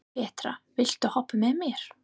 Petra, viltu hoppa með mér?